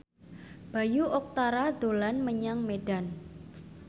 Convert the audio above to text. Bayu Octara dolan menyang Medan